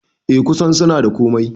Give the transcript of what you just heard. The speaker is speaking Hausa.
Eh kusan suna da komai